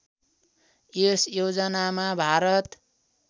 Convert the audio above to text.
यस योजनामा भारत